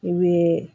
I bɛ